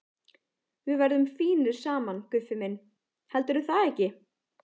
Við verðum fínir saman, Guffi minn, heldurðu það ekki?